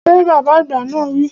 Fẹ! Bàbá àgbà náà wi